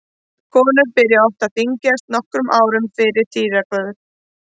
Konur byrja oft að þyngjast nokkrum árum fyrir tíðahvörf.